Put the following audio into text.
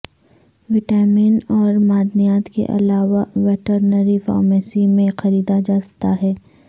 vitamin اور معدنیات کے علاوہ ویٹرنری فارمیسی میں خریدا جاتا ہے